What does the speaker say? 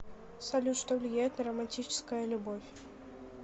салют что влияет на романтическая любовь